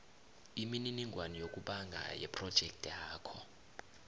imininingwana yokubhanga yephrojekthakho